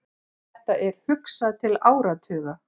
Þetta er hugsað til áratuga.